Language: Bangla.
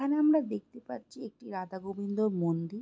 এখানে আমরা দেখতে পাচ্ছি একটি রাধা গোবিন্দ মন্দি--